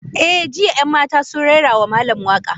Eh, jiya 'yan matan sun rera wa malam waka.